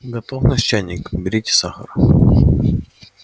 готов наш чайник берите сахар